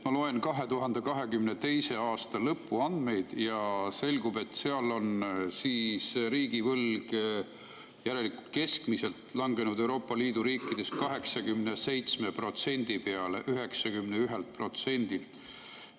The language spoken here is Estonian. Ma loen 2022. aasta lõpu andmeid ja selgub, et seal on riigivõlg, järelikult keskmiselt, langenud Euroopa Liidu riikides 91%-lt 87% peale.